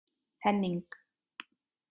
Henning